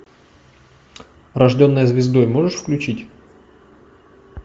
рожденная звездой можешь включить